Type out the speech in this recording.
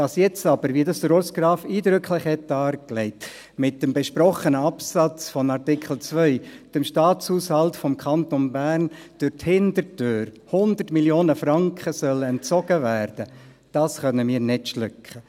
Dass jetzt aber, wie dies Urs Graf eindrücklich darlegt hat, mit dem besprochenen Absatz von Artikel 2 dem Staatshaushalt des Kantons Bern durch die Hintertüre 100 Mio. Franken entzogen werden sollen, können wir nicht schlucken.